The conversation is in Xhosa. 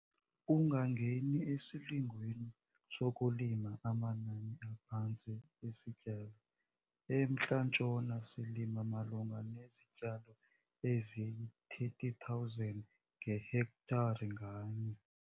Ungangeni esilingweni sokulima amanani aphantsi esityalo. EMntla Ntshona silima malunga nezityalo eziyi-30 000 ngehektare nganye.